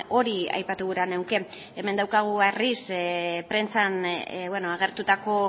hori aipatu gura nuke hemen daukagu berriz prentsan agertutako